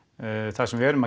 það sem við erum